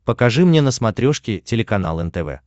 покажи мне на смотрешке телеканал нтв